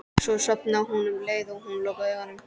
Svo sofnaði hún um leið og hún lokaði augunum.